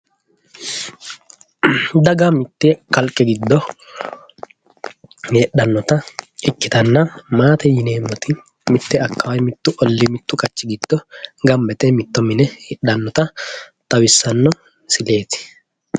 daga mitte kalqe giddo heedhannota ikkitanna maatete yineemmoti mitte akkawaawe mittu ollii mittu qachi giddo gamba yite mitto mine heedhannota heedhannota xawissanno misileeti,